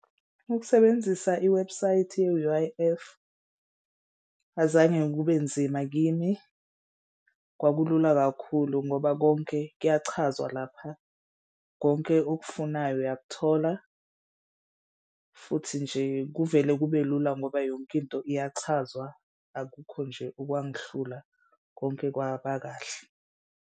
Ukusebenzisa iwebhusayithi ye-U_I_F azange kube nzima kimi. Kwakulula kakhulu ngoba konke kuyachazwa lapha. Konke okufunayo uyakuthola futhi nje kuvele kube lula ngoba yonke into iyachazwa. Akukho nje okwangihlula konke kwabakahle.